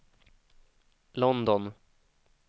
London